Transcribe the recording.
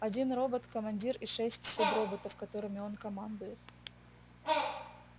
один робот командир и шесть суброботов которыми он командует